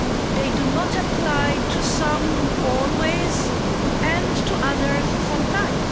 They do not apply to some always and to others only sometimes.